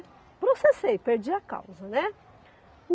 Processei, perdi a causa, né?